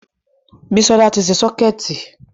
Bísọ́lá ti ṣe sọ́kẹ̀tì